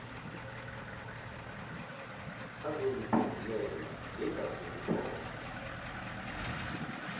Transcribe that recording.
azoziphendulela ngingaze ngiphole